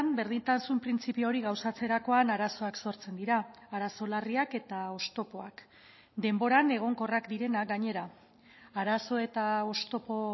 berdintasun printzipio hori gauzatzerakoan arazoak sortzen dira arazo larriak eta oztopoak denboran egonkorrak direnak gainera arazo eta oztopo